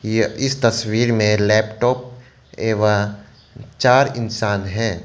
यह इस तस्वीर में लैपटॉप एवं चार इंसान हैं।